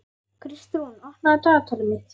Kristrún, opnaðu dagatalið mitt.